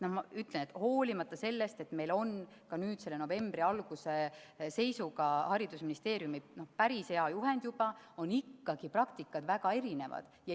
Ma ütlen, et hoolimata sellest, et meil on nüüd novembri alguse seisuga haridusministeeriumi päris hea juhend, on praktikad ikkagi väga erinevad.